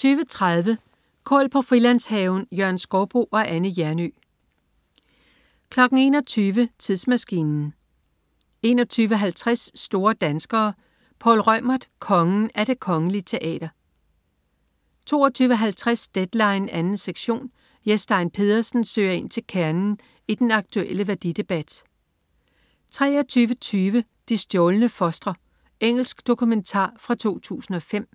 20.30 Kål på Frilandshaven. Jørgen Skouboe og Anne Hjernøe 21.00 Tidsmaskinen 21.50 Store danskere. Poul Reumert. "Kongen" af Det Kongelige Teater 22.50 Deadline 2. sektion. Jes Stein Pedersen søger ind til kernen i den aktuelle værdidebat 23.20 De stjålne fostre. Engelsk dokumentar fra 2005